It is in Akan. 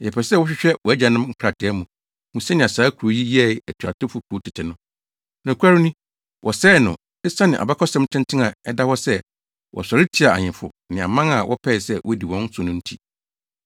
Yɛpɛ sɛ wohwehwɛ wʼagyanom nkrataa mu, hu sɛnea saa kurow yi yɛɛ atuatew kurow tete no. Nokware ni, wɔsɛee no, esiane abakɔsɛm tenten a ɛda hɔ sɛ wɔsɔre tiaa ahemfo ne aman a wɔpɛe sɛ wodi wɔn so no nti.